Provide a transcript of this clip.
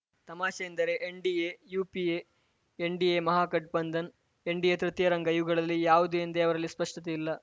ತಮಾಷೆ ಎಂದರೆ NDA UPA NDA Mahagathbandhan NDA ತೃತೀಯ ರಂಗ ಇವುಗಳಲ್ಲಿ ಯಾವುದು ಎಂದೇ ಅವರಲ್ಲಿ ಸ್ಪಷ್ಟತೆ ಇಲ್ಲ